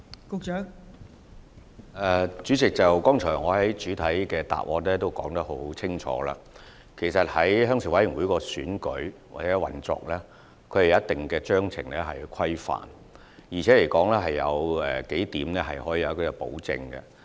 代理主席，我剛才在主體答覆已清楚回答，鄉事會的選舉和運作須受組織章程規範，而且有數點是獲得保證的。